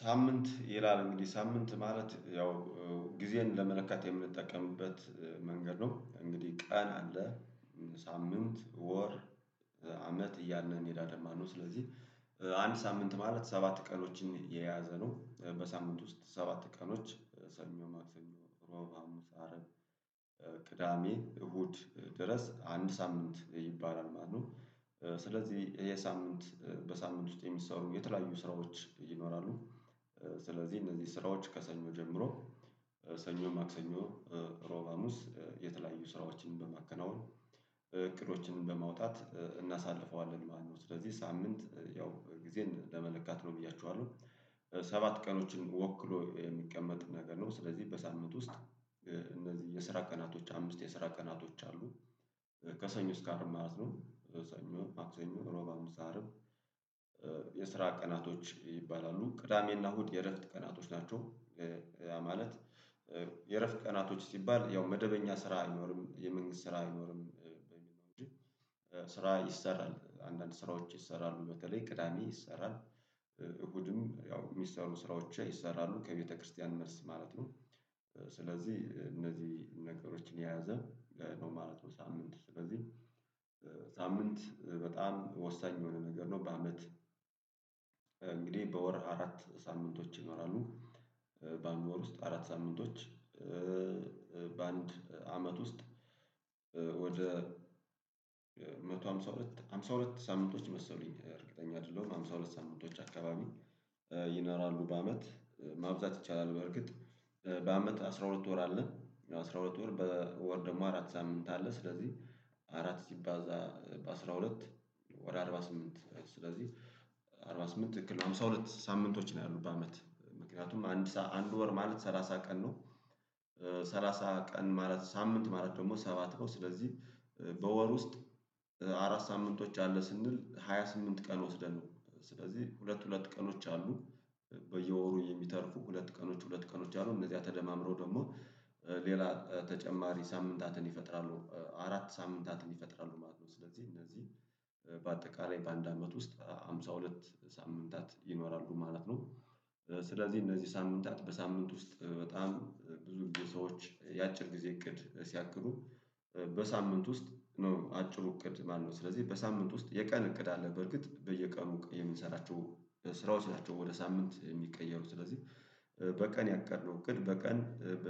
ሳምንት ይላል እንግዲህ ሳምንት ማለት ያው ጊዜን ለመለካት የምንጠቀምበት መንገድ ነው እንግዲህ ቀን አለ ሳምንት ወር አመት እያልን እንሄዳለን ማለት ነው። ስለዚህ አንድ ሳምንት ማለት ሰባት ቀኖችን የያዘ ነው። በሳምንት ውስጥ ሰባት ቀኖች ሰኞ ማክሰኞ እሮብ ሀሙስ አረብ ቅዳሜ እሁድ ድረስ አንድ ሳምንት ይባላል ማለት ነው። ስለዚህ የሳምንት በሳምንት ውስጥ የሚሰሩ የተለያዩ ስራዎች ይኖራሉ። ስለዚህ እነዚህ ስራዎች ከሰኞ ጀምሮ ሰኞ ማክሰኞ እሮብ ሀሙስ የተለያዩ ስራዎችን በማከናወን እቅዶችን በማውጣት እናሳልፈዋለን ማለት ነው። ስለዚህ ሳምንት ያው ጊዜን ለመለካት ነው ብያችኋለሁ ሰባት ቀኖችን ወክሎ የሚቀመጥ ነገር ነው። ስለዚህ በሳምንት ውስጥ እነዚህ የስራ ቀናቶች አምስት የስራ ቀናቶች አሉ። ከሰኞ እስከ አርባ ማለት ነው ሰኞ ማክሰኞ እሮብ ሀሙስ አርብ የስራ ቀናቶች ይባላሉ ቅዳሜና እሁድ የእረፍት ቀናቶች ናቸው። ማለት የእረፍት ቀናቶች ሲባል ያው መደበኛ ስራ አይኖርም የመንግስት ስራ አይኖርም። ስራ ይሰራል አንዳንድ ስራዎች ይሰራሉ በተለይ ቅዳሜ ይሰራል እሁድም ያው የሚሰሩ ስራዎች ይሰራሉ ከቤተክርስቲያን መልስ ማለት ነው። ስለዚህ እነዚህ ነገሮችን የያዘ ነው ማለት ነው። ሳምንት ስለዚህ ሳምንት በጣም ወሳኝ የሆነ ነገር ነው በአመት እንግዲህ በወር አራት ሳምንቶች ይኖራሉ። በአንድ ወር ውስጥ አራት ሳምንቶች በአንድ አመት ውስጥ ወደ ሃምሳ ሁለት ሃምሳ ሁለት ሳምንቶች መሰሉኝ እርግጠኛ አይደለሁም ሃምሳ ሁለት ሳምንቶች አካባቢ። ይኖራሉ በአመት ማብዛት ይቻላል በእርግጥ በአመት አስራ ሁለት ወር አለ አስራ ሁለት ወር በወር ደግሞ አራት ሳምንት አለ። ስለዚህ አራት ስባዛ በአስራ ሁለት ወደ አርባ ስምንት ስለዚህ አርባ ስምንት ትክልል ነው ሃምሳ ሁለት ሳምንቶች ነው። ያሉት በአመት ምክንያቱም አንድ ወር ማለት ሰላሳ ቀን ነው። ሰላሳ ቀን ማለት ሳምንት ማለት ደግሞ ሰባት ነው ስለዚህ በወር ውስጥ አራት ሳምንቶች አለ ስንል ሃያ ስምንት ቀን ወስደን ነው። ስለዚህ ሁለት ሁለት ቀኖች አሉ በየወሩ የሚተርፉ ሁለት ቀኖች ሁለት ቀኖች አሉ እነዚያ ተደማምሮ ደግሞ ሌላ ተጨማሪ ሳምንታትን ይፈጥራሉ አራት ሳምንታትን ይፈጥራሉ ማለት ነው። ስለዚህ እነዚህ በአጠቃላይ በአንድ አመት ውስጥ ሃምሳ ሁለት ሳምንታት ይኖራሉ ማለት ነው። ስለዚህ እነዚህ ሳምንታት በሳምንት ውስጥ በጣም ብዙ ሰዎች የአጭር ጊዜ እቅድ ሲያቅዱ በሳምንት ውስጥ ነው አጭሩ እቅድ ማነው? ስለዚህ በሳምንት ውስጥ የቀን እቅድ አለ በርግጥ በየቀኑ የምንሰራቸው ስራዎች ናቸው ወደ ሳምንት የሚቀየሩት ስለዚህ። በቀን ያቀድነው እቅድ በቀን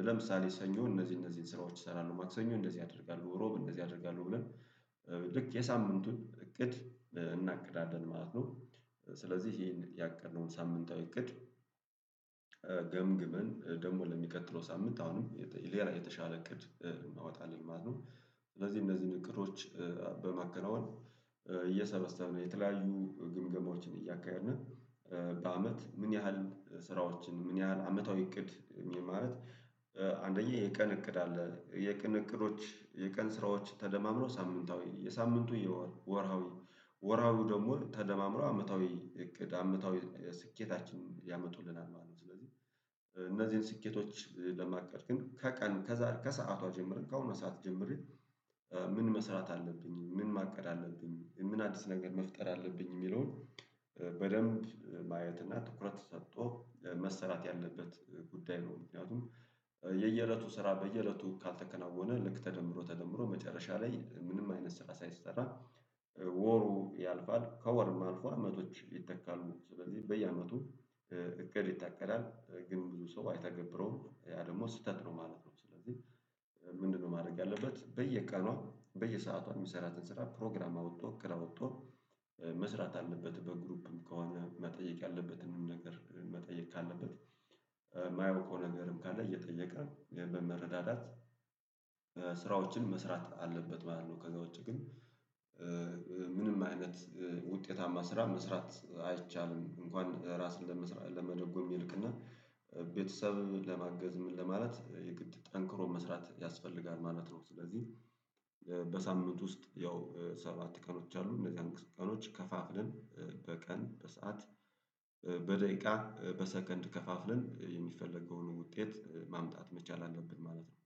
ለምሳሌ ሰኞ እነዚህ እነዚህን ስራዎች እሰራለሁ ማክሰኞ እንደዚህ አደርጋለሁ እሮብ እንደዚህ አደርጋለሁ ብለን ልክ የሳምንቱን እቅድ እናቅዳለን ማለት ነው። ስለዚህ ይሄን ያቀድነውን ሳምንታዊ እቅድ ገምግመን ደግሞ ለሚቀጥለው ሳምንት አሁንም የተሻለ እቅድ እናወጣለን ማለት ነው። ስለዚህ እነዚህን እቅዶች በማከናወን እየሰበሰበ ነው የተለያዩ ግምገማዎችን እያካሄድን በአመት ምን ያህል ስራዎችን ምን ያህል አመታዊ እቅድ? አንደኛ የቀን እቅድ አለ የቀን እቅዶች የቀን ስራዎች ተደማምሮ ሳምንታዊ የሳምንቱ የወር ወረሃዊ ወርሃዊ ደግሞ ተደማምሮ አመታዊ እቅድ አመታዊ ስኬታችን ያመጡልናል ማለት ነው። ስለዚህ እነዚህን ስኬቶች ለማቀድ ግን ከቀን ከሰአቷ ጀምሬ ከአሁኗ ሰዓት ጀምር ምን መስራት አለብኝ ምን ማቀድ አለብኝ ምን አዲስ ነገር መፍጠር አለብኝ የሚለውን በደንብ ማየት እና ትኩረት ሰጥቶ መሰራት ያለበት ጉዳይ ነው። ምክንያቱም የየእለቱ ስራ በየእለቱ ካልተከናወነ ልክ ተደምሮ ተደምሮ መጨረሻ ላይ ምንም አይነት ስራ ሳይሰራ ወሩ ያልፋል ከወርም አልፎ አመቶች ይተካሉ ስለዚህ በየአመቱ እቅድ ይታቀዳል ግን ብዙ ሰው አይታገብረውም ያ ደግሞ ስህተት ነው ማለት ነው። ስለዚህ ምንድነው? ማድረግ ያለበት በየቀኑ በየሰዓቷ የሚሰራትን ስራ ፕሮግራም አውጥቶ እቅድ አውጥቶ መስራት አለበት በግሩፕም ከሆነ መጠየቅ ያለበትንም ነገር መጠየቅ ካለበት የማያውቀው ነገርም ካለ እየጠየቀ በመረዳዳት ስራዎችን መስራት አለበት ማለት ነው። ከዛ ውጪ ግን ምንም አይነት ውጤታማ ስራ መስራት አይቻልም። እንኳን ራስን ለመደጎም ይልቅና ቤተሰብ ለማገዝም ለማለት የግድ ጠንክሮ መስራት ያስፈልጋል ማለት ነው። ስለዚህ በሳምንት ውስጥ ያው ሰባት ቀኖች አሉ እነዚህን ቀኖች ከፋፍለን በቀን በሰአት በደቂቃ በሰከንድ ከፋፍለን የሚፈለገውን ውጤት ማምጣት መቻል አለብን ማለት ነው።